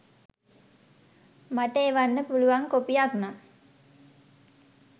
මට එවන්න පුලුවන් කොපියක්නම්.